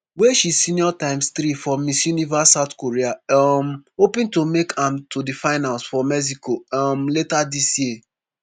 wey she senior times three for miss universe south korea um hoping to make am to di finals for mexico um later dis year